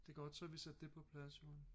Det er godt så har vi sat det på plads Joan